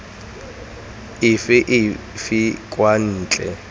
efe kgotsa efe kwa ntle